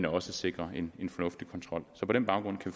og sikrer en fornuftig kontrol på den baggrund kan